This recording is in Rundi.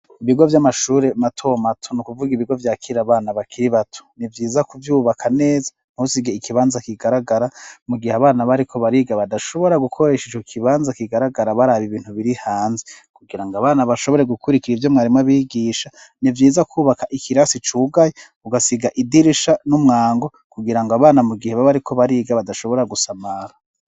Ibigo vy'amashure mato mato, ni ukuvuga ibigo vyakira abana bakiri bato, ni vyiza kuvyubaka neza ntusige ikibanza kigaragara, mu gihe abana bariko bariga badashobora gukoresha ico kibanza kigaragara baraba ibintu biri hanze; kugira ngo abana bashobore gukurikira ivyo mwarimu abigisha, ni vyiza kwubaka ikirasi cugaye, ugasiga idirisha n'umwango kugira ngo abana, mu gihe baba bariko bariga badashobora gusamara.